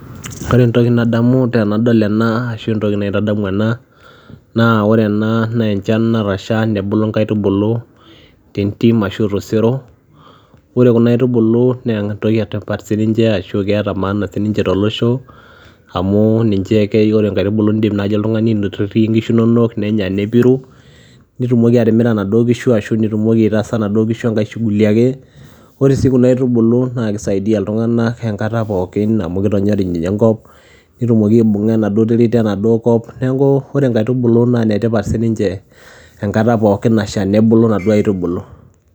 Ore entoki nadamu tenadol ena ashu entoki naitadamu ena naa ore ena naa enchan natasha nebulu nkaitubulu te ntim ashu to sero, ore kuna aitubulu nee entoki e tipat sininche ashu keeta maana sininche tolosho amu ninche keyeu naa ore nkaitubulu iindim naaji oltung'ani aitotie inkishu inonok nenya nepiru, nitumoki atimira inaduo kishu ashu nitumoki aitaaasa inaduo kishu enkae shughuli ake. Ore sii kuna aitubulu naake isaidia iltung'anak enkata pookin amu kitonyorij enkop netumoki aibung'a enaduo terit enaduo kop. Neeku ore nkaitubulu nee ine tipat sininche enkata pookin nasha nebulu inaduo aitubulu.